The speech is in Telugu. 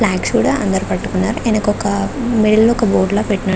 ప్లాన్క్స్ కూడా అందరూ పట్టుకున్నారు ఎనకొక మిడిల్ లో ఒక బోర్డు లా పెట్టినట్టు --